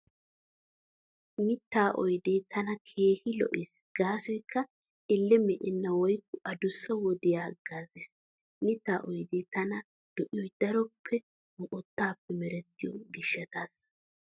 Mittaa oydee tana keehi lo'ees gaasoykka Elle me'enna woykko adussa wodiyan haggaazees. Mittaa oydee tana lo'iyoy daroppe moqottaappe merettiyo gishshataassa.